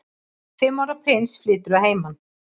Fimm ára prins flytur að heiman